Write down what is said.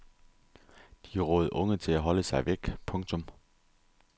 De rådede unge til at holde sig væk. punktum